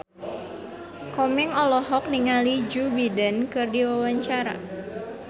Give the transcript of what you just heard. Komeng olohok ningali Joe Biden keur diwawancara